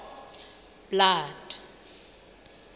blood